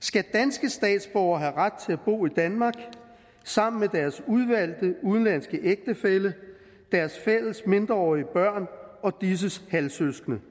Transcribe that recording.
skal danske statsborgere have ret til at bo i danmark sammen med deres udvalgte udenlandske ægtefælle deres fælles mindreårige børn og disses halvsøskende